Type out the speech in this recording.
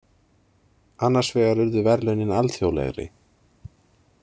Annars vegar urðu verðlaunin alþjóðlegri.